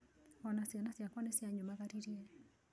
O na ciana ciakwa nĩ cianyumagaririe.